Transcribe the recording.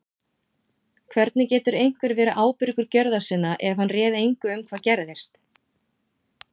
Hvernig getur einhver verið ábyrgur gjörða sinna ef hann réð engu um hvað gerðist?